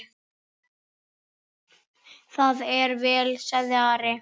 Það er vel, sagði Ari.